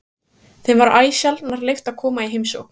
Þeim var æ sjaldnar leyft að koma í heimsókn.